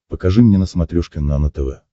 покажи мне на смотрешке нано тв